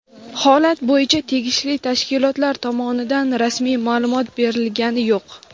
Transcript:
Holat bo‘yicha tegishli tashkilotlar tomonidan rasmiy ma’lumot berilgani yo‘q.